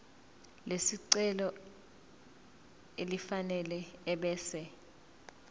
lesicelo elifanele ebese